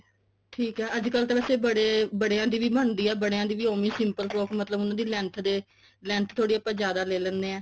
ਠੀਕ ਐ ਅੱਜਕਲ ਤਾਂ ਵੈਸੇ ਬੜਿਆ ਦੀ ਵੀ ਬਣਦੀ ਐ ਬੜਿਆ ਦੀ ਵੀ ਓਵੇਂ simple frock ਮਤਲਬ ਉਹਨਾਂ ਦੀ length ਦੇ length ਥੋੜੀ ਆਪਾਂ ਜਿਆਦਾ ਲੇ ਲੇਂਦੇ ਹਾਂ